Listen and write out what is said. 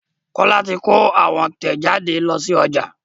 Kola tí kò àwọn tẹjade ló sí ọjà